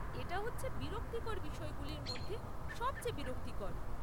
এটা হচ্ছে বিরক্তিকর বিষয়গুলির মধ্যে সবচেয়ে বিরক্তিকর।